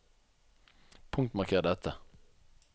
Punktmarker dette